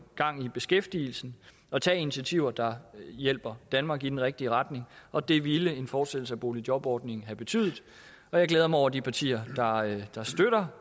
gang i beskæftigelsen og tager initiativer der hjælper danmark i den rigtige retning og det ville en fortsættelse af boligjobordningen have betydet jeg glæder mig over de partier der støtter